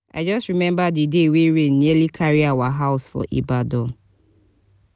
i just rememba di day wey rain nearly carry our house for ibadan.